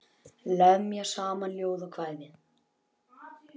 Lemja saman ljóð og kvæði.